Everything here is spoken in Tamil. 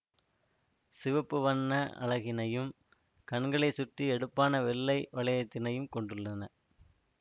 சிவப்பு வண்ண அலகினையும் கண்களைசுற்றி எடுப்பான வெள்ளை வளையத்தினையும் கொண்டுள்ளன